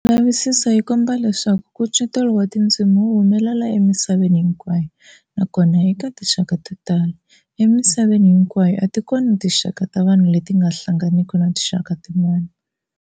Milavisiso yi komba leswaku nkucetelo wa tindzimi wu humelela emisaveni hinkwayo nakona eka tinxaka to tala. Emisaveni hinkwayo a ti kona tinxaka ta vanhu leti nga hlanganiki na tinxaka tin'wana.